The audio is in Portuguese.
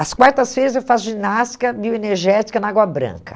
As quartas-feiras eu faço ginástica bioenergética na Água Branca.